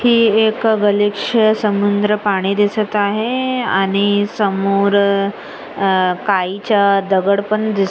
हे एक गलिच्छ समुन्द्र पाणी दिसत आहे आणि समोर अ काळीच्या दगड पण दिसत--